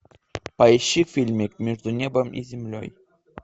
поищи фильмик между небом и землей